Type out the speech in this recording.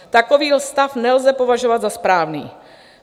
Takový stav nelze považovat za správný.